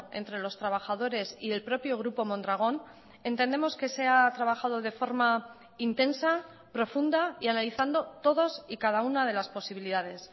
entre los trabajadores y el propio grupo mondragón entendemos que se ha trabajado de forma intensa profunda y analizando todos y cada una de las posibilidades